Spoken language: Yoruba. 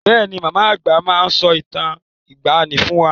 Bẹ́ẹ̀ ni, màmá àgbà máa ń sọ ìtàn ìgbàani fún wá.